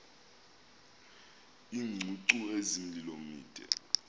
iingcungcu ezimilomo mide